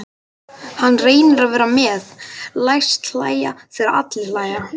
Hann reynir að vera með, læst hlæja þegar aðrir hlæja.